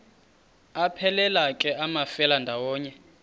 aphelela ke amafelandawonye